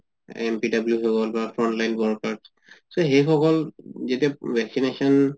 NPW হৈ গল বা frontline workers so সেই সকল যেতিয়া vaccination